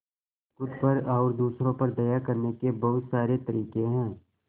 खुद पर और दूसरों पर दया करने के बहुत सारे तरीके हैं